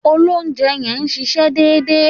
Òlòunjé yen n sísé dédé